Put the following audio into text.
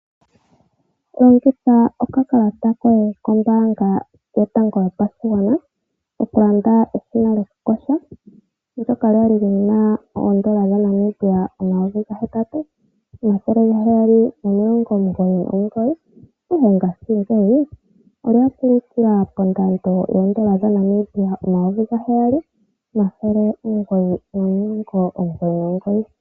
Longitha okakalata koye kombaanga yotango yopashigwana okulanda eshina lyokukosha, ndoka la li lina oondala dha Namibia omayovi gahetatu omathele gaheyali nomilongo omugoyi nomugoyi, ihe ngashingeyi ola kulukila pondando yoondola dha Namibia omayovi gaheyali omathele omugoyi nomilongo omugoyi nomugoyi.